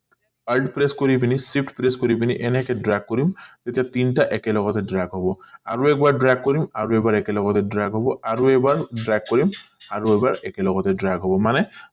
কৰি পিনি shift press কৰি পিনি এনেকে dark কৰিম তেতিয়া তিনটা একেলগে drake হব আৰু drake কৰিম আৰু এবাৰ একে লগতে drake হব আৰু এবাৰ drake কৰিম আৰু এবাৰ একেলগতে drake হব মানে